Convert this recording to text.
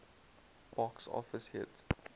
box office hit